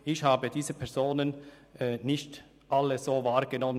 Ich habe diese Personen nicht alle so wahrgenommen.